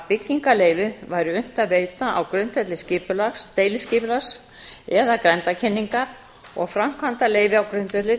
byggingarleyfi væri unnt að veita á grundvelli deiliskipulags eða grenndarkynningar og framkvæmdaleyfi á grundvelli